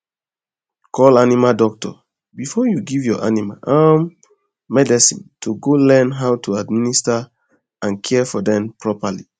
call animal doctor before you give your animal um medicine to to learn how to administer and care for them properly